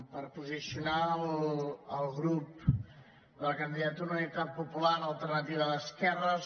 per posicionar el grup de la candidatura d’unitat popular alternativa d’esquerres